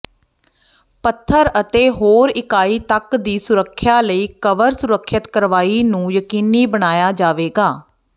ਪੱਥਰ ਅਤੇ ਹੋਰ ਇਕਾਈ ਤੱਕ ਦੀ ਸੁਰੱਖਿਆ ਲਈ ਕਵਰ ਸੁਰੱਖਿਅਤ ਕਾਰਵਾਈ ਨੂੰ ਯਕੀਨੀ ਬਣਾਇਆ ਜਾਵੇਗਾ